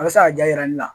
A bɛ se ka ja yira ne la